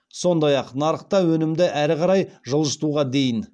сондай ақ нарықта өнімді әрі қарай жылжытуға дейін